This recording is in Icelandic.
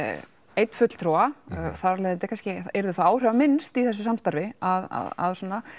einn fulltrúa þar af leiðandi yrði það áhrifaminnst í þessu samstarfi að að